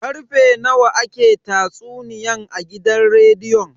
Karfe nawa ne ake tatsuniyan a gidan rediyon?